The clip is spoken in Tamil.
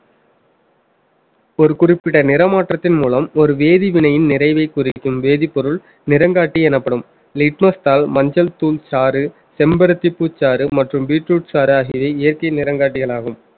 ஒரு குறிப்பிட்ட நிற மாற்றத்தின் மூலம் ஒரு வேதிவினையின் நிறைவைக் குறிக்கும் வேதிப்பொருள் நிறங்காட்டி எனப்படும் litmus தாள் மஞ்சள் தூள் சாறு செம்பருத்திப் பூச்சாறு மற்றும் பீட்ரூட் சாறு ஆகியவை இயற்கை நிறங்காட்டிகளாகும்